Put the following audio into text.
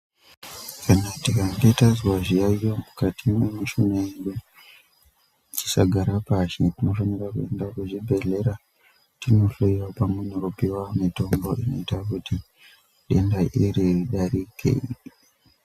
Kana tikange tazwa zviyayo mukati mwemishuna yedu tisagare pashi, tinofanira kuenda kuzvibhehlera tinohloyiwa pamwe nekupiwa mitombo inoita kuti denda iri ridarike.